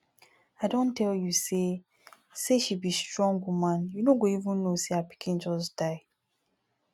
i don tell you say say she be strong woman you no go even no say her pikin just die